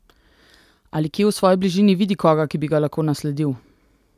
Ali kje v svoji bližini vidi koga, ki bi ga lahko nasledil?